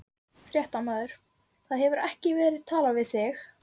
Fréttamaður: Það hefur ekki verið talað við þig?